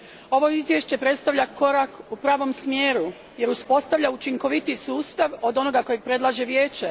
Ovo izvješće predstavlja korak u pravom smjeru, jer uspostavlja učinkovitiji sustav od onoga koji predlaže Vijeće.